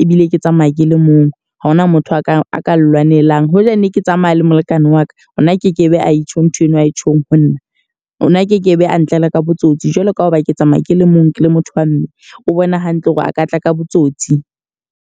ebile ke tsamaya ke le mong. Ha hona motho a ka a ka lwanelang. Hoja ne ke tsamaya le molekane wa ka ona a ke ke be a e tjho ntho eno ae tjhong ho nna. O na a ke ke be a ntlela ka botsotsi. Jwalo ka hoba ke tsamaya ke le mong ke le motho wa mme o bona hantle hore a ka tla ka botsotsi.